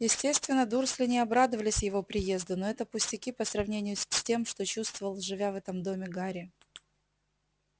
естественно дурсли не обрадовались его приезду но это пустяки по сравнению с тем что чувствовал живя в этом доме гарри